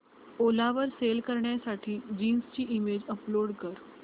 ओला वर सेल करण्यासाठी जीन्स ची इमेज अपलोड कर